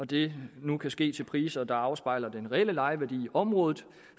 det nu kan ske til priser der afspejler den reelle lejeværdi i området